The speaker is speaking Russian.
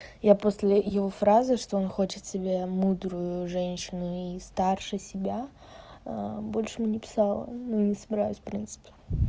я после его фразы что он хочет себя мудрую женщину и старше себя больше ему не писала ну не собираюсь в принципе